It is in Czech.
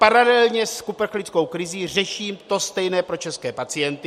Paralelně s uprchlickou krizí řeším to stejné pro české pacienty.